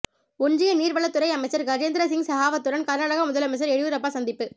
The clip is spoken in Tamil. ஒன்றிய நீர்வளத்துறை அமைச்சர் கஜேந்திர சிங் செகாவத்துடன் கர்நாடக முதலமைச்சர் எடியூரப்பா சந்திப்பு